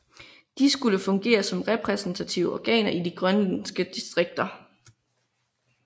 De skulle fungere som repræsentative organer i de grønlandske distrikter